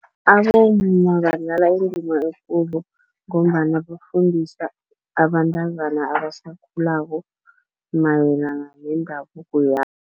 Abomma badlala indima ekulu, ngombana bafundisa abantazana abasakhulako mayelana nendabuko